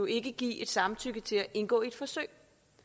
ikke give et samtykke til at indgå i et forsøg